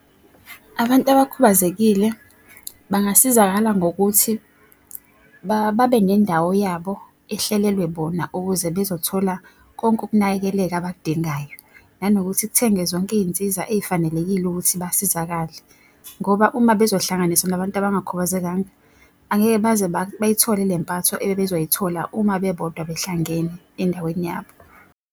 Abantu abakhubazekile bangasizakala ngokuthi babe nendawo yabo ehlelelwa bona ukuze bezothola konke ukunakekeleka abakudingayo. Nanokuthi kuthenge zonke iy'nsiza ey'fanelekile ukuthi basizakale. Ngoba uma bezohlanganiswa nabantu abangakhubazekanga, angeke baze bayithole lempatho ebebezoyithola uma bebodwa behlangene endaweni yabo.